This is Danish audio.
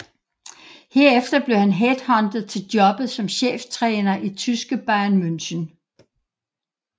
Herefter blev han headhuntet til jobbet som cheftræner i tyske Bayern München